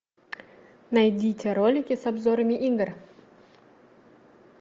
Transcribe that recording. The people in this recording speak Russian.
найдите ролики с обзорами игр